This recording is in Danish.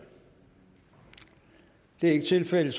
det er ikke tilfældet